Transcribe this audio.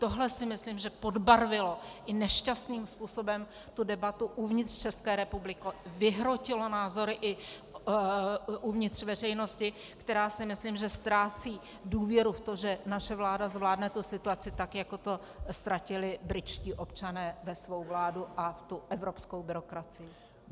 Tohle si myslím, že podbarvilo i nešťastným způsobem tu debatu uvnitř České republiky, vyhrotilo názory i uvnitř veřejnosti, která si myslím, že ztrácí důvěru v to, že naše vláda zvládne tu situaci, tak jako to ztratili britští občané ve svou vládu a v tu evropskou byrokracii.